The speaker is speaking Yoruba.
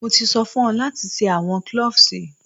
Mo ti so fun o lati se awọn cloves!